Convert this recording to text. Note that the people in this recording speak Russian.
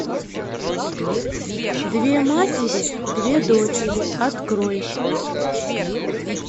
две матери две дочери открой